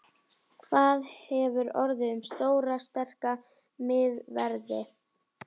Hvað hefur orðið um stóra sterka miðverði?